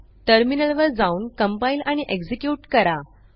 टर्मिनलवर जाऊन कंपाइल आणि एक्झिक्युट करा